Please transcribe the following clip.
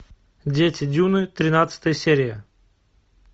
дети дюны тринадцатая серия